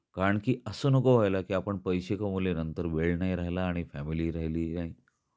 कारण की अस नको व्हायला की आपण पैसे कमवले नंतर वेळ नाही राहिला आणि फॅमिली हि राहिलीली नाही. काय वाटत तुला